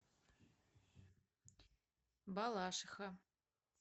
балашиха